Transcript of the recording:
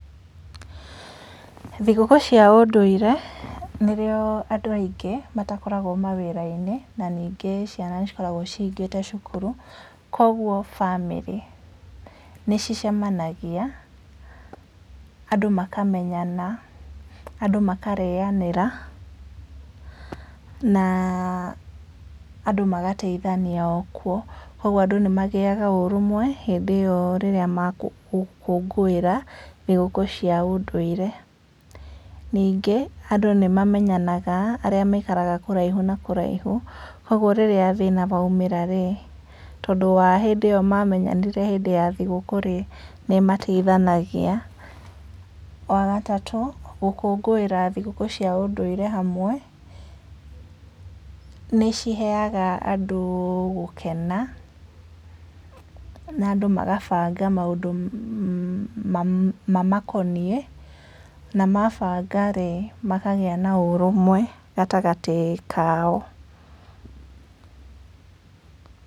Thigũkũ cia ũndũire, nĩrĩo andũ aingĩ matakoragwo mawĩrainĩ, na ningĩ ciana cikoragwo cihingĩte cukuru, koguo namĩrĩ nĩcicemanagia, andũ makamenyana, andũ makarĩanĩra, na andũ magateithania o kuo, koguo andũ nĩmagĩaga ũrũmwe, hĩndĩ ĩyo rĩrĩa magũngũĩra, thigũkũ cia ũndũire. Ningĩ, andũ nĩmamenyanaga, arĩa maikaraga kũraihu na kũraihu, koguo rĩrĩa mathĩna maumĩra rĩ, tondũ wa hindĩ ĩyo mamenyanire hĩndĩ ya thigũkũ rĩ, nĩmateithanagia, wagatatũ, gũkũngũĩra thigũkũ cia ũndũire hamwe, nĩciheaga andũ gũkena, na andũ magabanga maũndũ ma mamakoniĩ, na mabanga rĩ, makagĩa na ũrũmwe, gatagatĩ kao.